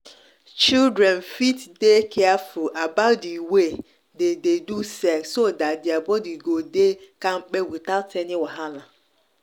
children fit dey careful about the way they dey do sex so that their body go dey kampe without any wahala.